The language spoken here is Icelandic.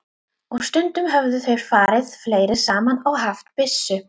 Og stundum höfðu þeir farið fleiri saman og haft byssu.